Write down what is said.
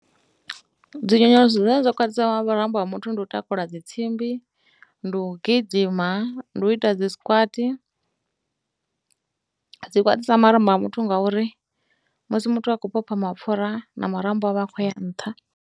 Dzi nyonyoloso dzine dza khwaṱhisa marambo a muthu ndi u takula dzi tsimbi, ndi u gidima, ndi u ita dzi squats. Dzi khwaṱhisa marambo ha muthu ngauri musi muthu a khou vhofha mapfura na marambo a vha a khou ya nṱha.